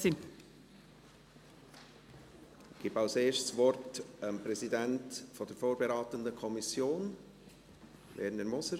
Ich gebe als Erstes dem Präsidenten der vorberatenden Kommission das Wort, Werner Moser.